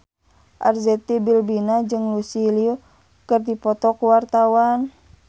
Arzetti Bilbina jeung Lucy Liu keur dipoto ku wartawan